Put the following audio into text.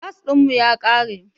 Gas ɗin mu ya ƙare.